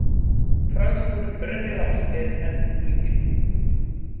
Franskur rennilás er enn yngri.